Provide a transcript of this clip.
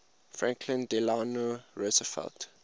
franklin delano roosevelt